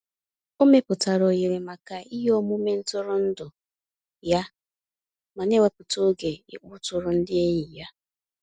O mepụtara ohere maka iheomume ntụrụndụ ya ma na-ewepụta oge ịkpọtụrụ ndị enyi ya.